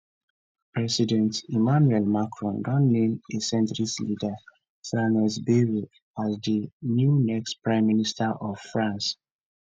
president emmanuel macron don name a centrist leader franois bayrou as di new next prime minister of france